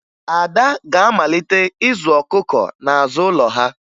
Ada ga-amalite ịzụ ọkụkọ n'azụ ụlọ ha